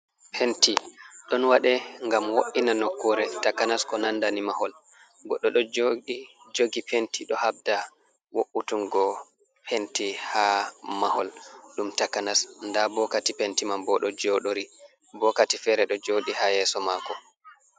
Penti ɗon waɗe gam wo’ina nokkure takanas ko nandani mahol godɗo ɗo jogi penti ɗo habda woutungo penti ha mahol ɗum takanas nda bo kati penti man bo ɗo joɗori bokati fere ɗo jodi ha yeso mako.